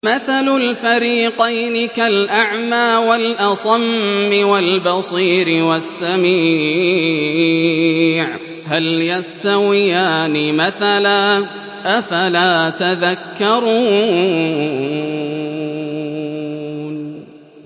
۞ مَثَلُ الْفَرِيقَيْنِ كَالْأَعْمَىٰ وَالْأَصَمِّ وَالْبَصِيرِ وَالسَّمِيعِ ۚ هَلْ يَسْتَوِيَانِ مَثَلًا ۚ أَفَلَا تَذَكَّرُونَ